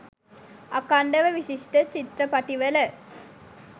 අඛන්ඩව විශිෂ්ට චිත්‍රපටිවල